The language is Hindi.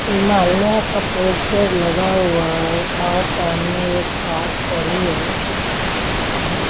हिमालया का पोस्टर लगा हुआ है और सामने एक कार खड़ी है और--